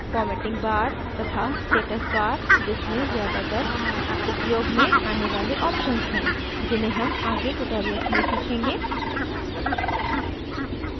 formatting bar तथा status bar जिसमें ज्यादातर उपयोग में as वाले options हैं जिन्हें हम आगे tutorials में सीखेंगे